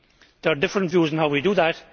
There are different views on how we do that.